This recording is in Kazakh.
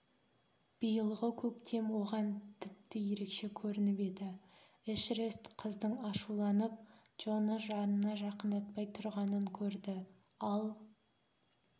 биылғы көктем оған тіпті ерекше көрініп еді эшерест қыздың ашуланып джоны жанына жақындатпай тұрғанын көрді ал